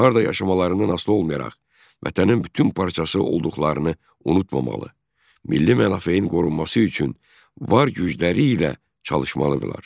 Harda yaşamalarından asılı olmayaraq, vətənin bütün parçası olduqlarını unutmamalı, milli mənafenin qorunması üçün var qüvvələri ilə çalışmalıdırlar.